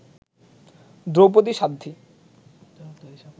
Draupadi Sadhvi